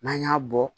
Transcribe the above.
N'an y'a bɔ